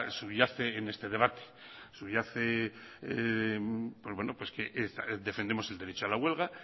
subyace en este debate subyace que defendemos el derecho a la huelga